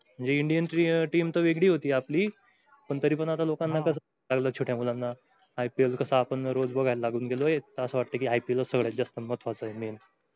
म्हणजे indian team तर वेगळी होती आपली पण तरी पण आता लोकांना कसं छोट्या मुलांना IPL कसं आपण रोज बघायला लागून गेलोय तर असं वाटतंय कि IPL सगळ्यात जास्त महत्वाचं आहे main